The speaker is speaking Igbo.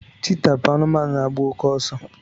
cheetah bụ anụmanụ na agba oke ọsọ